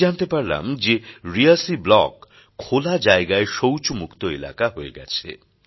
আমি জানতে পারলাম যে রিয়াসী ব্লক খোলা জায়গায় শৌচমুক্ত এলাকা হয়ে গেছে